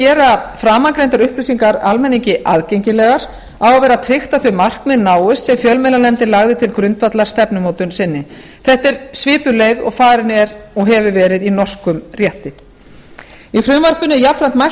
gera framangreindar upplýsingar almenningi aðgengilegar á að vera tryggt að þau markmið náist sem fjölmiðlanefndin lagði til grundvallar stefnumótun sinni þetta er svipuð leið og farið er og hefur verið í norskum rétti í frumvarpinu er jafnframt mælt